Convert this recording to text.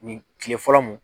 kile fɔlɔ mun